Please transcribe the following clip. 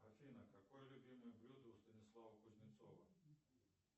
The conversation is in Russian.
афина какое любимое блюдо у станислава кузнецова